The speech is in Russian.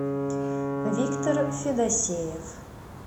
виктор федосеев